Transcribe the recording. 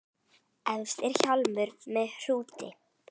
Efst er hjálmur með hrúti.